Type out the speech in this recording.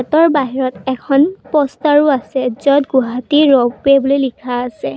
গেটৰ বাহিৰত এখন প'ষ্টাৰো আছে য'ত গুৱাহাটী ৰপৱে বুলি লিখা আছে।